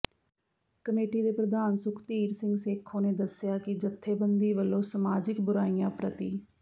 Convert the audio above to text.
committee ਦੇ ਪ੍ਰਧਾਨ ਸੁਖਧੀਰ ਸਿੰਘ ਸੇਖੋਂ ਨੇ ਦੱਸਿਆ ਕਿ ਜਥੇਬੰਦੀ ਵੱਲੋਂ ਸਮਾਜਿਕ ਬੁਰਾਈਆਂ ਪ੍ਰਤੀ